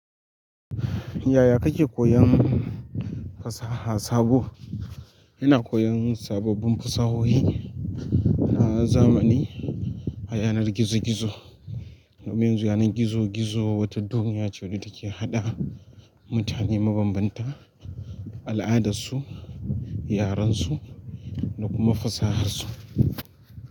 Yaya kake koyon fasaha sabo? Ina koyon sababbin fasahohi na zamani a yanar gizo-gizo. Yanar gizo-gizo wata duniya ce wadda take haɗa mutane mabanbanta, al'adarsu, yarensu da kuma fasahar su.